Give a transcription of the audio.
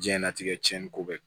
Diɲɛlatigɛ cɛnni ko bɛ